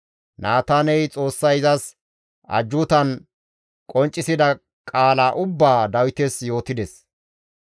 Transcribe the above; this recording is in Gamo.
Naataaney Xoossay izas ajjuutan qonccisida qaala ubbaa Dawites yootides.